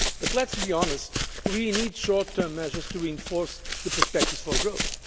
Let us be honest, we need short term measures to reinforce the perspectives for growth.